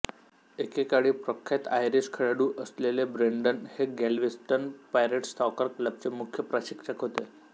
एकेकाळी प्रख्यात आयरिश खेळाडू असलेले ब्रेन्डन हे गॅल्व्हेस्टन पायरेट्स सॉकर क्लबचे मुख्य प्रशिक्षक होते